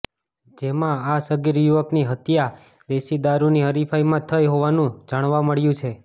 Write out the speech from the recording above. જેમાં આ સગીર યુવકની હત્યા દેશી દારૂની હરીફાઈમાં થઈ હોવાનું જાણવા મળ્યું છે